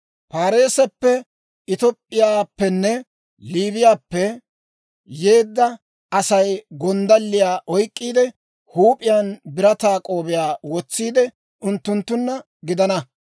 Paariseppe, Top'p'iyaappenne Liibiyaappe yeedda Asay gonddalliyaa oyk'k'iide, huup'iyaan birataa k'oobiyaa wotsiide, unttunttunna gidana.